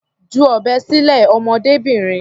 Ju ọ̀bẹ sílẹ̀, ọmọdébìnrin.